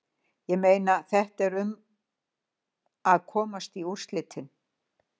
Ég meina, þetta er um að komast í úrslitin.